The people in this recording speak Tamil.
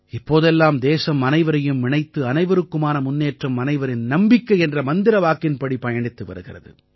இப்போதெல்லாம் தேசம் அனைவரையும் இணைத்து அனைவருக்குமான முன்னேற்றம் அனைவரின் நம்பிக்கை என்ற மந்திர வாக்கின்படி பயணித்து வருகிறது